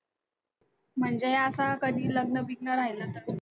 म्हणजे असा कधी लग्न-बिग्न राहिलं तर